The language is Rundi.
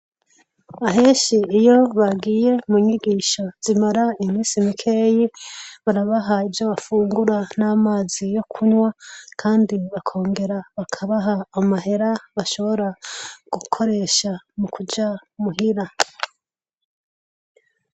Ahenshi iyo bagiye mu nyigisho zimara imisi mikeyi, barabaha ivyo bafungura n'amazi yo kunywa kandi bakongera bakabaha amahera bashobora gukoresha mu kuja muhira.